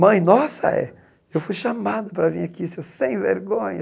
Mãe, nossa. É eu fui chamada para vir aqui, seu sem vergonha.